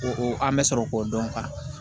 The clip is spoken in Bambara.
O o an bɛ sɔrɔ k'o dɔn